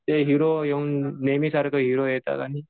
ते हिरो येऊन नेहमी सारखं हिरो येतात आणि